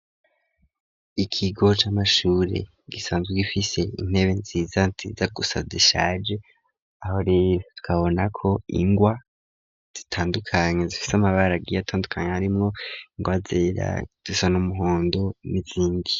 Ikigo camashure gisanzwe gifise intebe nziza nziza gusa zishaje aho rero tukabona ko ingwa zitandukanye zifise amabara agiye atandukanye harimwo ingwa zera zisa n'umuhondo nizindi.